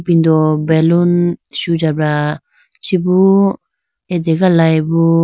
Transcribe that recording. ipindu baloon sujabra chibu ategalayi bo.